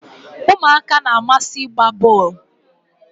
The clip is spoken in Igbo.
umuaka na-amasi igba bol